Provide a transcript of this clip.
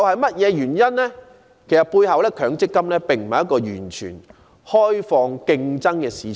其實，強積金並非一個完全開放競爭的市場。